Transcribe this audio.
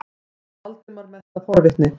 spurði Valdimar, mest af forvitni.